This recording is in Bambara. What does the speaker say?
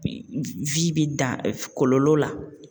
bi dan kɔlɔlɔ la.